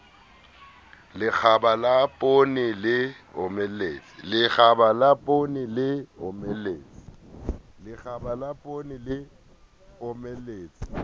lekgaba la poone le omeletse